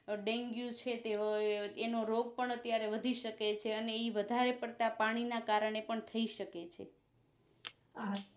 dengue છે તે એનું રોગપણ ત્યારે વધી શકે છે અને ઈવધારે પડતા પાણી ના કારણે પણ થઈ સકે છે